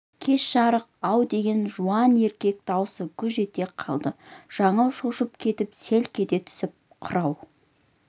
кеш жарық-ау деген жуан еркек дауысы гүж ете қалды жаңыл шошып кетіп селк ете түсті қырау